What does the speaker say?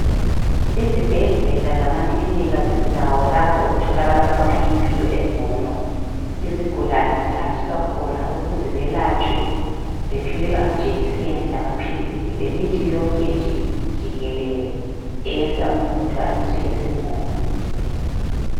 Izibhedlela lama klinika zindawo lapho okutholakala khona impilo engcono. Izigulane zihanjiswa khona ukuze zelatshwe ziphiwe amajekiseni lamaphilisi lemithi yonke nje jikelele eyenza umuntu azizwe esengcono.